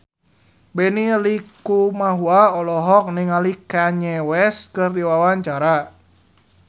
Benny Likumahua olohok ningali Kanye West keur diwawancara